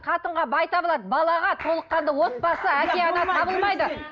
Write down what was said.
қатынға бай табылады балаға толыққанды отбасы әке ана табылмайды